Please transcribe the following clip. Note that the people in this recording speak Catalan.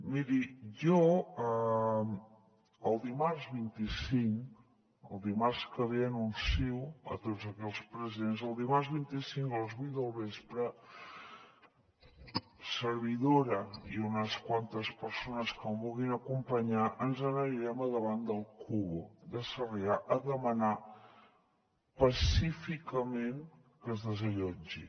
miri jo el dimarts vint cinc el dimarts que ve anuncio a tots els presents que el dimarts vint cinc a les vuit del vespre servidora i unes quantes persones que em vulguin acompanyar ens n’anirem a davant d’el kubo de sarrià a demanar pacíficament que es desallotgi